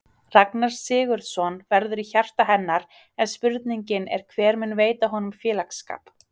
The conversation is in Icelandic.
Ragnar Sigurðsson verður í hjarta hennar en spurningin er hver mun veita honum félagsskap?